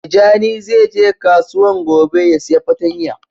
Tijani zai je kasuwan gobe ya siya patanya.